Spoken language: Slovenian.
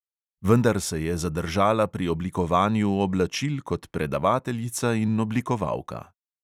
Vendar se je zadržala pri oblikovanju oblačil kot predavateljica in oblikovalka.